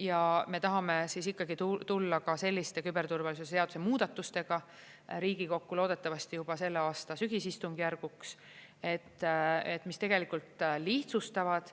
Ja me tahame ikkagi tulla ka selliste küberturvalisuse seaduse muudatustega Riigikokku, loodetavasti juba selle aasta sügisistungjärguks, mis tegelikult lihtsustavad